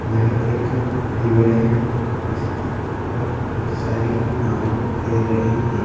यह एक रिवर है जिसके ऊपर बहुत सारी नाव तैर रही है।